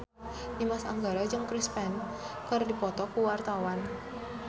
Dimas Anggara jeung Chris Pane keur dipoto ku wartawan